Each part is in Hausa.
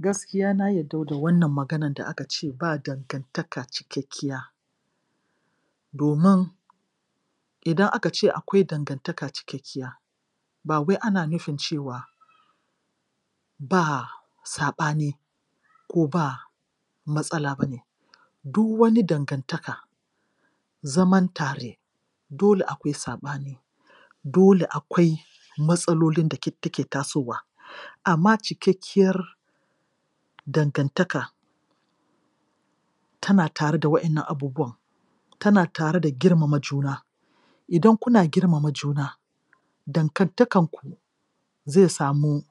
Gaskiya na yarda da wannan maganan da aka ce ba dangantaka cikakkiya domin idan aka ce akwai danganta cikakkiya ba wai ana nufin cewa ba saɓani ko ba matsala ba ne. Du wani dangantaka, zaman tare dole akwai saɓani dole akwai matsalolin da take tasowa. Amma cikakkiyar dangantaka tana tare da wannan abubuwan, tana tare da girmama juna. Idan kuna girmama juna, dangantakarku zai samu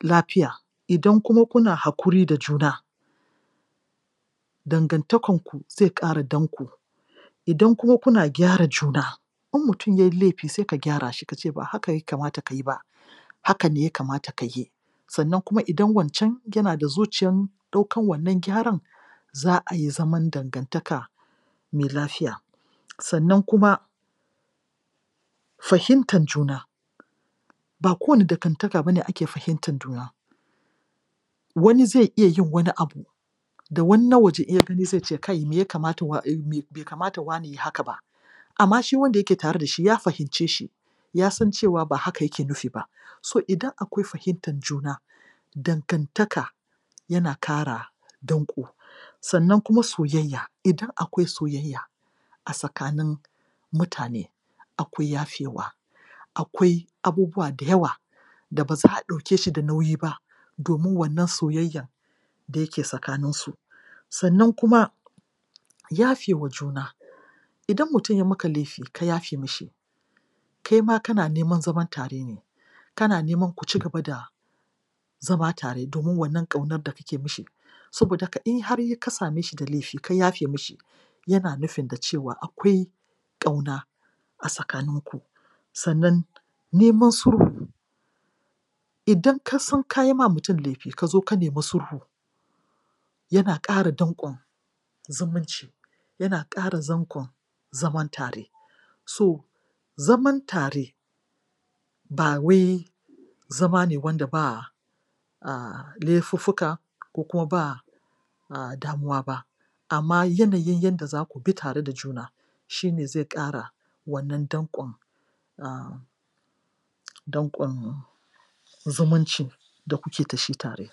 lafiya. Idan kuma kuna hakuri da jun dangantakanku zai ƙara danko Idan kuma kuna gyara juna; in mutum yai laifi sai ka gyara shi, ka ce ba haka ya kamata ka yi ba. Haka ne ya kamata ka yi. Sannan kuma idan wancan yana zuciyan ɗaukan wannan gyaran za a yi zaman dangantaka mai lafiya. Sannan kuma fahimtan juna ba kowane dangantaka ba ne ake fahimtan juna wani zai iya yin wani abu da wani na waje in ya gani sai ka ce me ya kamata, bai kamata wane yai haka ba Amma shi wanda yake tare da shi ya fahimce shi, ya san cewa ba haka yake nufi ba. So idan akwai fahimtan juna, dangantaka yana kara danko. Sannan kuma soyayya. Idan akwai soyayya a tsakanin mutane akwai yafewa Akwai abubuwa da yawa da ba za a ɗauke shi da nauyi ba domin wannan soyayyan da yake tsakanisu. Sannan kuma yafe wa juna. Idan mutum ya maka laifi, ka yafe mishi. Kai ma kana neman zaman tare ne, kana neman ku ci gaba da zama tare domin wannan ƙaunar da kake mishi, saboda haka in har ka same shi da laifi ka yafe mishi yana nufin da cewa akwai ƙauna a tsakaninku. Sannan neman sulhu idan ka san ka yi ma mutum laifi ka zo ka nemi sulhu yana ƙara danƙon zumunci; yana ƙara danƙon zaman tare. So, zaman tare ba wai zama ne wanda ba laifuffuka ko kuma ba damuwa ba amma yanayin yadda za ku bi tare da juna, shi ne zai ƙara wannan danƙon um danƙon zumuncin da kuke da shi tare.